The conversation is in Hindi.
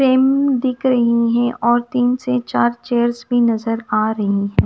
सेम दिख रही हैं और तीन से चार चेयर्स भी नजर आ रही हैं।